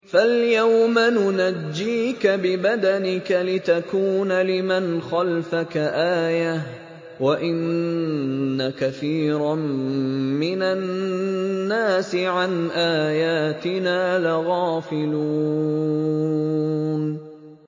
فَالْيَوْمَ نُنَجِّيكَ بِبَدَنِكَ لِتَكُونَ لِمَنْ خَلْفَكَ آيَةً ۚ وَإِنَّ كَثِيرًا مِّنَ النَّاسِ عَنْ آيَاتِنَا لَغَافِلُونَ